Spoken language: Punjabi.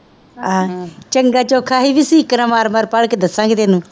ਆਹੋ ਚੰਗਾ ਚੌਖਾ ਹੀ ਹੈ ਮਾਰ ਮਾਰ ਕੇ ਦੱਸਾਂਗੇ ਤੈਨੂੰ